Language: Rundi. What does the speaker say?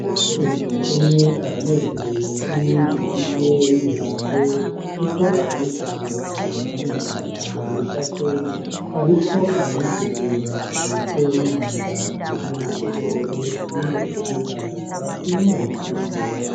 Umukenyezi umwe aranezerewe n'umwimbu yagize w'ibiharage kuko arabifise ahantu hanini cane yabishashe ariko arabitegura ngwabikuremwo umwanda bimwe abigosore, ibindi aje kubidandaza, ibindi abifungure.